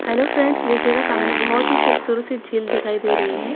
Hello friends देखिएगा सामने बहुत ही खूबसूरत सी झील दिखाई दे रही है।